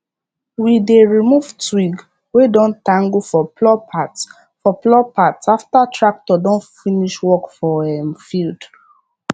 we dey remove twig wey don tangle for plough parts for plough parts after tractor don finish work for um field